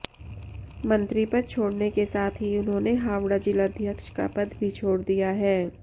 मंत्रीपद छोड़ने के साथ ही उन्होंने हावड़ा जिलाध्यक्ष का पद भी छोड़ दिया है